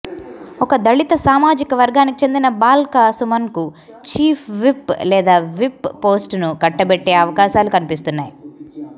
ఇక దళిత సామాజిక వర్గానికి చెందిన బాల్క సుమన్కు ఛీఫ్ విప్ లేదా విప్ పోస్టును కట్టబెట్టే అవకాశాలు కనిపిస్తున్నాయి